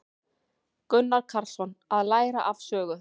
Gunnar Karlsson: Að læra af sögu.